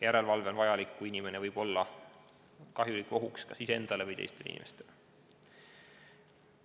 Järelevalve on vajalik juhul, kui inimene võib olla ohtlik kas iseendale või teistele inimestele.